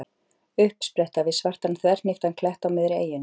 Uppspretta við svartan þverhníptan klett á miðri eyjunni.